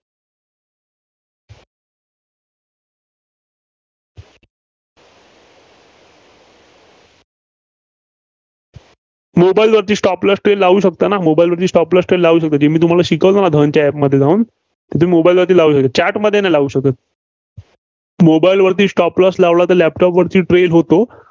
mobile वरती stop loss trail लावू शकताना? mobile वरती Stop loss trail लावू शकतो. मी तुम्हाला शिकवलं ना? धनच्या App मध्ये जाऊन. ते mobile वरती लावलेलं. chart मध्ये नाही लावू शकत. mobile वरती stop loss लावला तर laptop वर trail होतो.